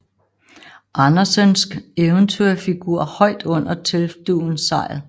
Andersensk eventyrfigur højt under teltdugens sejl